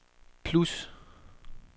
plus